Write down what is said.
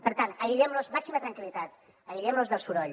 per tant màxima tranquil·litat aïllem los del soroll